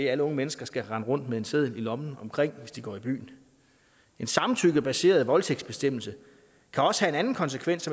alle unge mennesker skal rende rundt med en seddel om det i lommen hvis de går i byen en samtykkebaseret voldtægtsbestemmelse kan også have en anden konsekvens